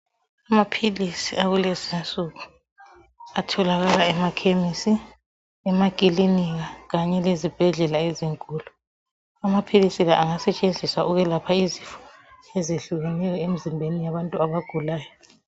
Amaphilisi akulezinsuku atholakala emakhemisi, emakilinika kanye lezibhedlela ezinkulu. Amaphilisi la angasetshenziswa ukwelapha izifo ezehlukeneyo emzimbeni yabantu abagulayo.